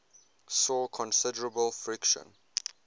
saw considerable friction